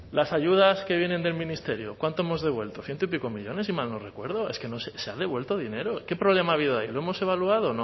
las ayudas que vienen del ministerio cuánto hemos devuelto ciento y pico millónes si mal no recuerdo es que se ha devuelto dinero qué problema ha habido ahí lo hemos evaluado